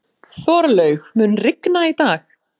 Þorlaug, mun rigna í dag?